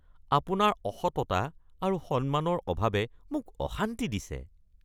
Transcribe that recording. আপোনাৰ অসততা আৰু সন্মানৰ অভাৱে মোক অশান্তি দিছে।